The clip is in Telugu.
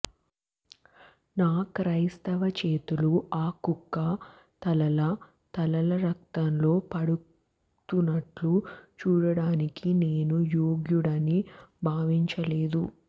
నా క్రైస్తవ చేతులు ఆ కుక్క తలల తలల రక్తంలో పడుతున్నట్లు చూడడానికి నేను యోగ్యుడని భావించలేదు